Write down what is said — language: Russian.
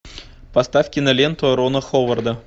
поставь киноленту рона ховарда